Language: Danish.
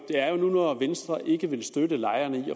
venstre vil ikke støtte lejerne i